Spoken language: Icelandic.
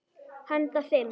Handa fimm